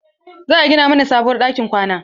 Za a gina mana sabuwar ɗakin kwana.